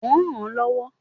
Mo rànán lọ́wọ́.